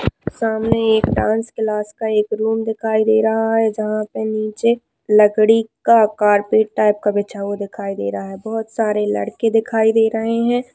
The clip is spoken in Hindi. सामने एक डांस क्लास का एक रूम दिखाई दे रहा है जहां पर नीचे लकड़ी का कार्पेट टाइप का बिछा दिखाई दे रहा है बहुत सारे लड़के दिखाई दे रहे है।